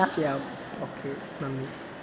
ചെയ്യാം, ഓക്കേ, നന്ദി.